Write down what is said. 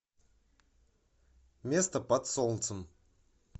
место под солнцем